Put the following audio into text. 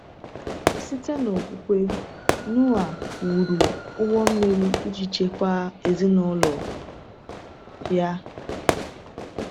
Site n’okwukwe, Noa “wụrụ ụgbọ mmiri iji chekwaa ezinụlọ ya.”